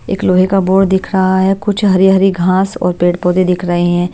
एक लोहे का बोर्ड दिख रहा है कुछ हरी-हरी घास और पेड़-पौधे दिख रहे हैं।